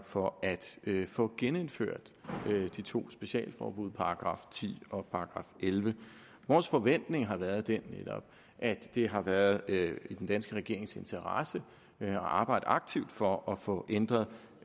for at få genindført de to specialforbud § ti og § ellevte vores forventning har været den at det har været i den danske regerings interesse at arbejde aktivt for at få ændret